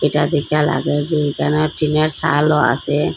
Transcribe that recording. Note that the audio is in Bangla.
যা দেইখা লাগে যে যেনো টিনের চালও আসে।